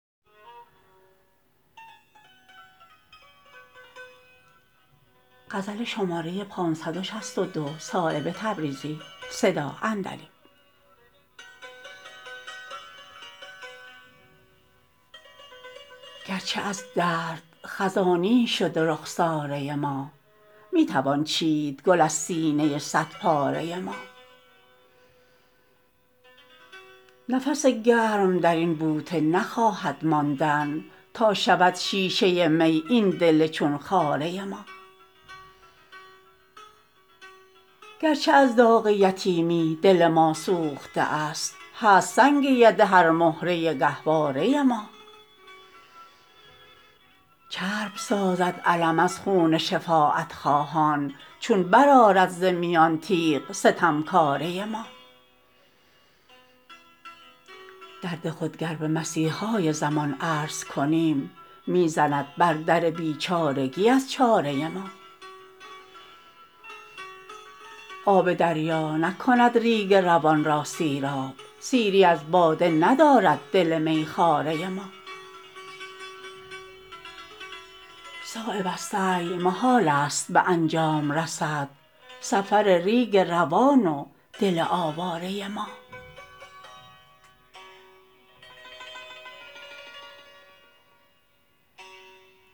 گرچه از درد خزانی شده رخساره ما می توان چید گل از سینه صد پاره ما نفس گرم درین بوته نخواهد ماندن تا شود شیشه می این دل چون خاره ما گرچه از داغ یتیمی دل ما سوخته است هست سنگ یده هر مهره گهواره ما چرب سازد علم از خون شفاعت خواهان چون برآرد ز میان تیغ ستمکاره ما درد خود گر به مسیحای زمان عرض کنیم می زند بر در بیچارگی از چاره ما آب دریا نکند ریگ روان را سیراب سیری از باده ندارد دل میخواره ما صایب از سعی محال است به انجام رسد سفر ریگ روان و دل آواره ما